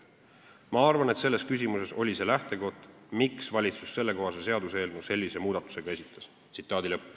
Ma arvan, et selles küsimuses oli see lähtekoht, miks valitsus sellekohase seaduseelnõu sellise muudatusega esitas.